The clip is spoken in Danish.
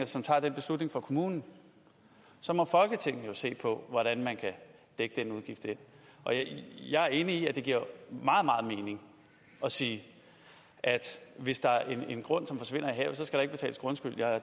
som tager den beslutning for kommunen så må folketinget jo se på hvordan man kan dække den udgift jeg er enig i at det giver meget meget mening at sige at hvis der er en grund som forsvinder i havet så skal der ikke betales grundskyld